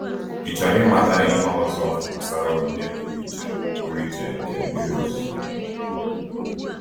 Ị chọrọ ịmata ihe ọzọ gbasara onyinye pụrụ iche pụrụ iche nke mmiri ozuzo?